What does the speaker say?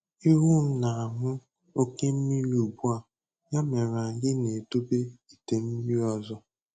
Ewu m na-aṅụ oke mmiri ugbu a, ya mere anyị na-edobe ite mmiri ọzọ.